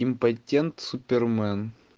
импотент супермен